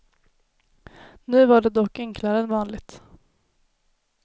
Nu var det dock enklare än vanligt.